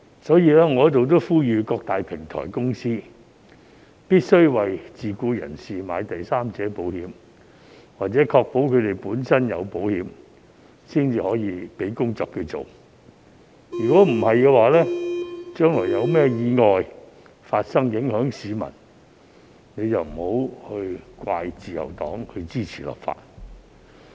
所以，我在此呼籲各大平台公司必須為自僱人士購買第三者保險，或確保他們本身有購買保險，才給予他們工作，否則將來發生任何意外影響到市民，便不要怪責自由黨支持立法。